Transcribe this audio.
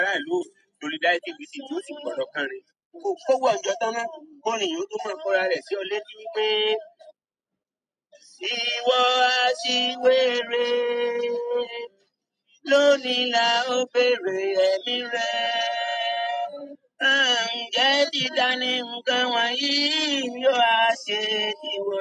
Ara ìlú o solidarity visit yóò si pọ̀ lọ káǹrí kò kówo òhún jọ tán ná kórin yí o tó máa kó ara rẹ̀ sí o létí wípé, ìwọ aṣiwere lónìí la ó béèrè ẹ̀mí rẹ. Ǹjẹ́ títà ni ǹkan wọ̀nyí yóò á ṣe ìwọ.